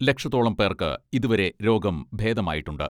ലക്ഷത്തോളം പേർക്ക് ഇതുവരെ രോഗം ഭേദമായിട്ടുണ്ട്.